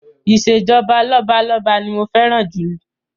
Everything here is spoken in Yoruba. Ìṣèjọba lọ́balọ́ba ni mo fẹ́ràn jù